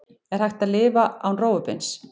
Er hægt að lifa án rófubeins?